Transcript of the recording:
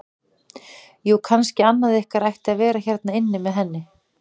Jú, kannski annað ykkar ætti að vera hérna inni með henni.